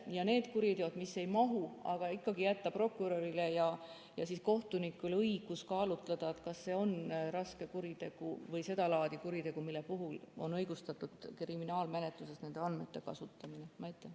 Ja nende kuritegude puhul, mis sinna ei mahu, jätta ikkagi prokurörile ja kohtunikule õigus kaalutleda, kas see on raske kuritegu või sedalaadi kuritegu, mille puhul on õigustatud kriminaalmenetluses nende andmete kasutamine.